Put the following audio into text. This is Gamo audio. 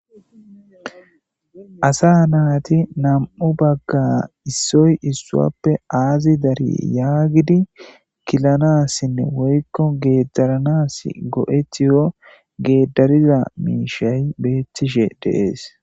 Asa naati nam'u bagga issoy issuappe aazi dari yaagidi kilanassinne woykko geedaranas go'etiyo geeddariza miishay beettishe deees.